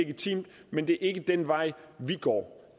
legitimt men det er ikke den vej vi går